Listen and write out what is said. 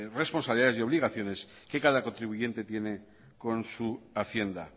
responsabilidades y obligaciones que cada contribuyente tiene con su hacienda